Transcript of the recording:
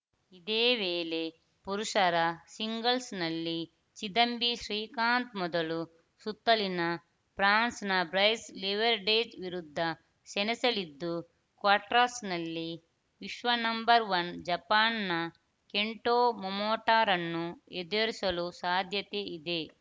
ಇದೇ ವೇಳೆ ಪುರುಷರ ಸಿಂಗಲ್ಸ್‌ನಲ್ಲಿ ಚಿದಂಬಿ ಶ್ರೀಕಾಂತ್‌ ಮೊದಲು ಸುತ್ತಲ್ಲಿನ ಫ್ರಾನ್ಸ್‌ನ ಬ್ರೈಸ್‌ ಲಿವರ್‌ಡೆಜ್‌ ವಿರುದ್ಧ ಸೆಣಸಲಿದ್ದು ಕ್ವಾರ್ಟಸ್ ನಲ್ಲಿ ವಿಶ್ವ ನಂಬರ್ ಒನ್ ಜಪಾನ್‌ನ ಕೆಂಟೊ ಮೊಮೊಟಾರನ್ನು ಎದುರಿಸಲು ಸಾಧ್ಯತೆ ಇದೆ